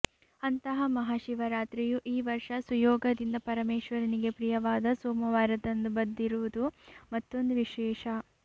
ಅಂತಹ ಮಹಾಶಿವರಾತ್ರಿಯು ಈ ವರ್ಷ ಸುಯೋಗದಿಂದ ಪರಮೇಶ್ವರನಿಗೆ ಪ್ರಿಯವಾದ ಸೋಮವಾರದಂದು ಬದಿರುವುದು ಮತ್ತೊಂದು ವಿಶೇಷ